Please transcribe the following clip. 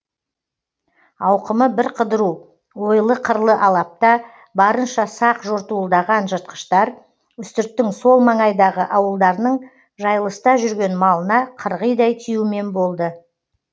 ауқымы бірқыдыру ойлы қырлы алапта барынша сақ жортуылдаған жыртқыштар үстірттің сол маңайдағы ауылдарының жайылыста жүрген малына қырғидай тиюмен болды